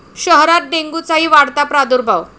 शहरात डेंग्यूचाही वाढता प्रादुर्भाव